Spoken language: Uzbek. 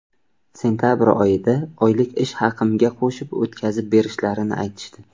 Sentabr oyida oylik ish haqimga qo‘shib o‘tkazib berishlarini aytishdi.